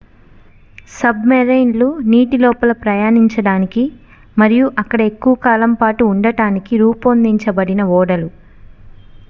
sub marine లు నీటి లోపల ప్రయాణించడానికి మరియు అక్కడ ఎక్కువ కాలం పాటు ఉండటానికి రూపొందించబడిన ఓడలు